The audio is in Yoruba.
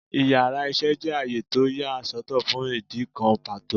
Íyarà iṣẹ jẹ àyè tọ́ ya sọ́tò fún idikán pató